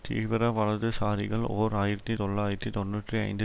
தீவிர வலதுசாரிகள் ஓர் ஆயிரத்தி தொள்ளாயிரத்தி தொன்னூற்றி ஐந்து